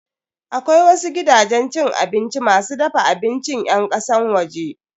Akwai wasu gidajen abinci masu dafa abincin yan kasan waje.